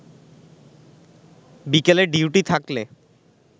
বিকেলে ডিউটি থাকলে